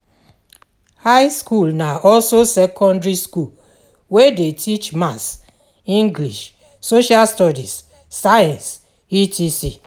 High school na also secondary school wey de teach maths, english, social studies, science etc.